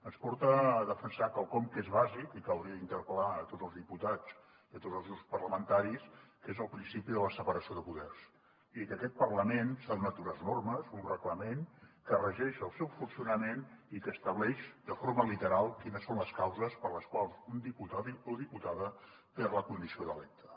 ens porta a defensar quelcom que és bàsic i que hauria d’interpel·lar a tots els diputats i a tots els grups parlamentaris que és el principi de la separació de poders i que aquest parlament s’ha donat unes normes un reglament que regeix el seu funcionament i que estableix de forma literal quines són les causes per les quals un diputat o diputada perd la condició d’electe